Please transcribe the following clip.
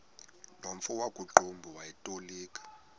nomfo wakuqumbu owayetolika